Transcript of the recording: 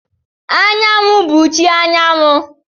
Anyanwu bụ chi anyanwụ.